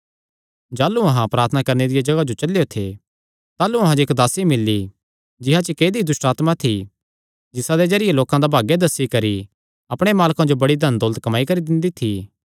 जाह़लू अहां प्रार्थना करणे दिया जगाह जो चलेयो थे ताह़लू अहां जो इक्क दासी मिल्ली जिसा च इक्क ऐदई दुष्टआत्मा थी जिसादे जरिये लोकां दा भाग्य दस्सी करी अपणे मालकां जो बड़ी धनदौलत कम्माई करी दिंदी थी